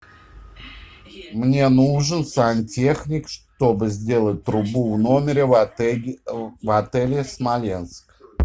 мне нужен сантехник чтобы сделать трубу в номере в отеле смоленск